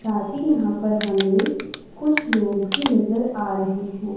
साथ ही यहां पर हमें कुछ लोग भी नजर आ रहे हैं।